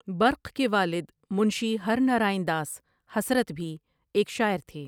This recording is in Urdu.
برق کے والد منشی ہر نرائن داس حسرت بھی ایک شاعر تھے ۔